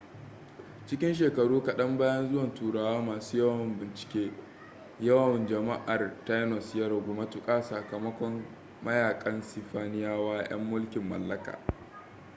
cikin shekaru kaɗan bayan zuwan turawa masu yawon bincike yawan jama'ar tainos ya ragu matuka sakamakon mayakan sifaniyawa yan mulkin mallakaa